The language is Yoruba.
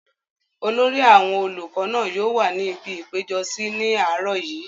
olórí àwọn olùkọ náà yóò wà ní ibi ìpéjọsí ní àárọ̀ yìí